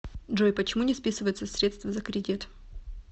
джой почему не списываются средства за кредит